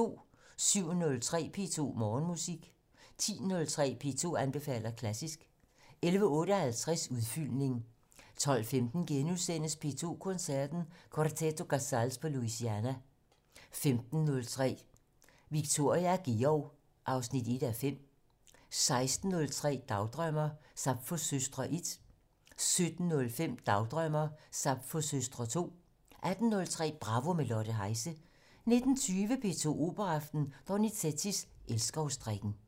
07:03: P2 Morgenmusik 10:03: P2 anbefaler klassisk 11:58: Udfyldning 12:15: P2 Koncerten - Quarteto Casals på Louisiana * 15:03: Viktoria og Georg 1:5 16:03: Dagdrømmer: Sapfos søstre 1 17:05: Dagdrømmer: Sapfos søstre 2 18:03: Bravo - med Lotte Heise 19:20: P2 Operaaften - Donizetti: Elskovsdrikken